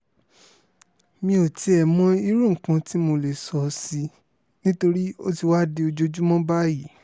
mi ò tiẹ̀ mọ irú nǹkan tí mo lè sọ sí i nítorí ó ti wáá di ojoojúmọ́ báyìí